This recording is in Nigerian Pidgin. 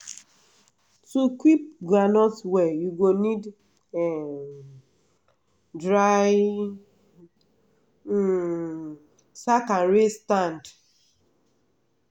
to keep groundnut well u go need um dry um sack and raise stand. um